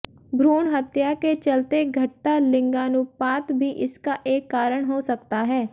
भ्रूण हत्या के चलते घटता लिंगानुपात भी इसका एक कारण हो सकता है